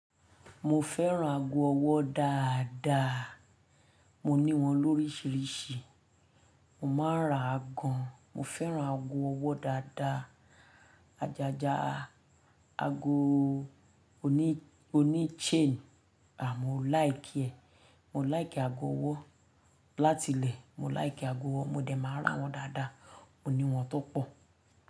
Mo fẹ́ràn aago ọwọ́ dáadáa. Mo ní wọn lórísírísì. Mo máa ń ra gan. Mo fẹ́ràn ago ọwọ́ dáadáa. Ajaja ago oní, oní chain, à mo like ẹ. Mo like ago ọwọ́. Látilẹ̀ mo like aago ọwọ́. Mo dẹ̀ máa ń ra wọn dáadáa. Ó ní wọn tó pọ̀